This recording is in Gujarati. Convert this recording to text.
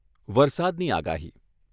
આગાહી